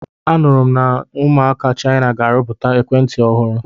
A nụrụ m na ụmụaka Chaina ga-arụpụta ekwentị ọhụrụ.